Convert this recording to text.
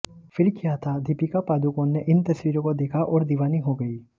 फिर क्या था दीपिका पादुकोण ने इन तस्वीरों को देखा और दीवानी हो गईं